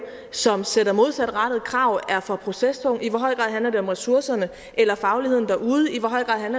som sætter modsatrettede krav er for procestung i hvor høj grad det handler om ressourcerne eller fagligheden derude